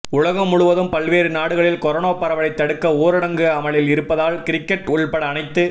உலகம் முழுவதும் பல்வேறு நாடுகளில் கொரோனா பரவலை தடுக்க ஊரடங்கு அமலில் இருப்பதால் கிரிக்கெட் உள்பட அனைத்து